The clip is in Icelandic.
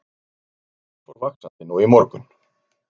Mengunin fór vaxandi nú í morgun